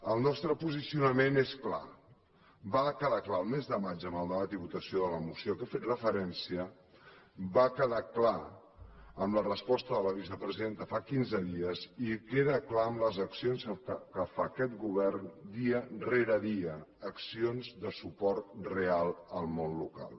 el nostre posicionament és clar va quedar clar el mes de maig amb el debat i votació de la moció a què he fet referència va quedar clar amb la resposta de la vicepresidenta fa quinze dies i queda clar amb les accions que fa aquest govern dia rere dia accions de suport real al món local